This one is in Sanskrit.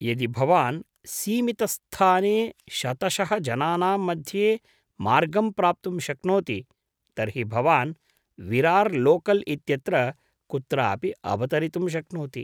यदि भवान् सीमितस्थाने शतशः जनानां मध्ये मार्गं प्राप्तुं शक्नोति तर्हि भवान् विरार् लोकल् इत्यत्र कुत्रापि अवतरितुं शक्नोति।